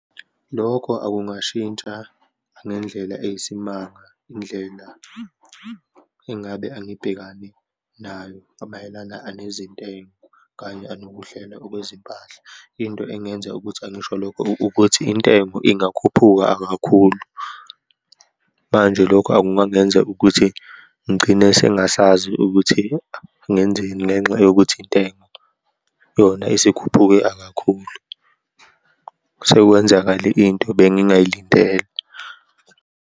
Lokho akungashintsha ngendlela eyisimanga, indlela engabe angibhekane nayo amayelana anezintengo kanye anokuhlelwa okwezimpahla. Into engenza ukuthi angisho lokho ukuthi intengo ingakhuphuka akakhulu, manje lokho akungangenza ukuthi ngigcine sengingasazi ukuthi ngenzeni ngenxa yokuthi intenga, yona isikhuphuke akakhulu. Sekwenzakale into bengingayilindele.